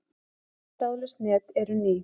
Öll þráðlaus net eru ný.